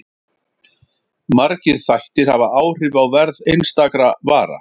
Margir þættir hafa áhrif á verð einstakra vara.